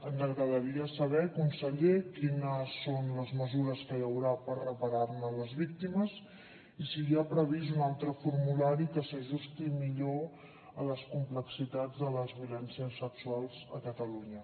ens agradaria saber conseller quines són les mesures que hi haurà per reparar ne les víctimes i si hi ha previst un altre formulari que s’ajusti millor a les complexitats de les violències sexuals a catalunya